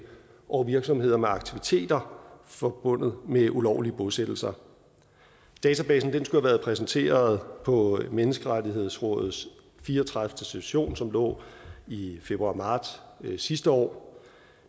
over virksomheder med aktiviteter forbundet med ulovlige bosættelser databasen skulle have været præsenteret på menneskerettighedsrådets fire og tredive session som lå i februar marts sidste år